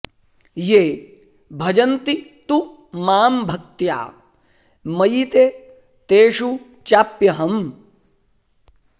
ये भजन्ति तु मां भक्त्या मयि ते तेषु चाप्यहम्